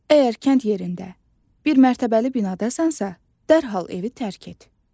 Əgər kənd yerində bir mərtəbəli binadasansa, dərhal evi tərk et.